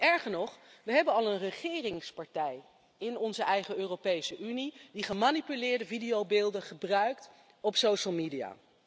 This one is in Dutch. Erger nog, we hebben al een regeringspartij in onze eigen Europese Unie die gemanipuleerde videobeelden gebruikt op de sociale media.